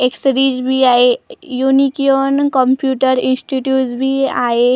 Accessories बी आहे युनीकिऑन कम्प्युटर इन्स्टीट्युट बी आहे .